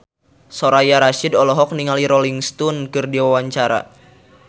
Soraya Rasyid olohok ningali Rolling Stone keur diwawancara